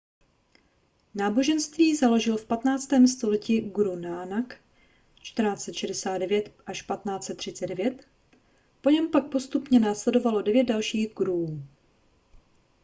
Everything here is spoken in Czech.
náboženství založil v 15. století guru nának 1469–1539. po něm pak postupně následovalo devět dalších guruů